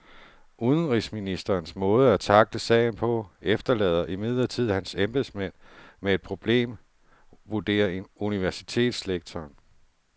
Udenrigsministerens måde at tackle sagen på efterlader imidlertid hans embedsmænd med et problem, vurderer universitetslektoren.